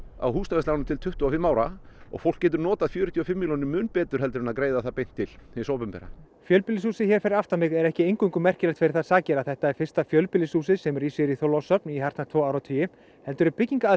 á húsnæðisláni til tuttugu og fimm ára og fólk getur notað fjörutíu og fimm milljónir mun betur heldur en til að greiða það beint til þess opinbera fjölbýlishúsið hér fyrir aftan mig er ekki eingöngu merkilegt fyrir þær sakir að þetta er fyrsta fjölbýlishúsið sem rís hér í Þorlákshöfn í hartnær tvo áratugi heldur er